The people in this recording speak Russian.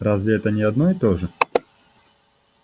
разве это не одно и то же